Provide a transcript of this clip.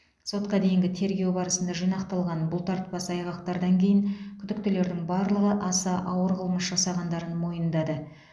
сотқа дейінгі тергеу барысында жинақталған бұлтартпас айғақтардан кейін күдіктілердің барлығы аса ауыр қылмыс жасағандарын мойындады